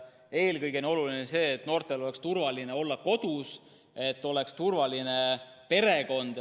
Eelkõige on oluline see, et noortel oleks turvaline olla kodus, et oleks turvaline perekond.